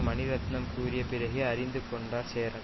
மணிரத்னம் கூறிய பிறகே அறிந்து கொண்டார் சேரன்